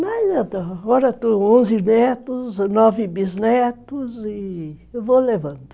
agora eu tenho onze netos, nove bisnetos e eu vou levando.